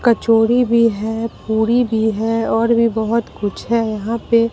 कचोरी भी है पूरी भी है और भी बहोत कुछ है यहां पे--